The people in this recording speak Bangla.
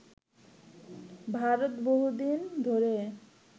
ভারত বহুদিন ধরে